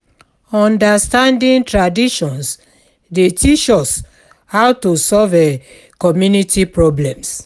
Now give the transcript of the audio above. Understanding traditions dey teach us how to solve um community problems.